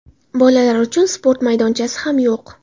Bolalar uchun sport maydonchasi ham yo‘q.